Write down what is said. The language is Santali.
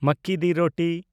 ᱢᱟᱠᱠᱤ ᱫᱤ ᱨᱳᱴᱤ